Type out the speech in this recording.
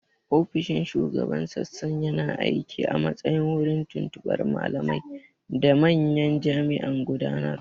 Ofishin Shugaban Sassan yana aiki a matsayin wurin tuntuɓar malamai da manyan jami'an gudanarwa.